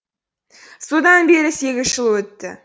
содан бері сегіз жыл өтті